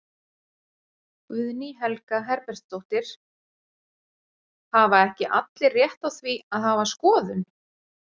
Guðný Helga Herbertsdóttir: Hafa ekki allir rétt á því að hafa skoðun?